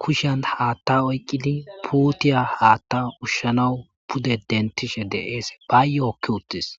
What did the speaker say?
kushan haatta oyqqili puutiya haatta ushshanawu pude dentishe deees bayyookki uttis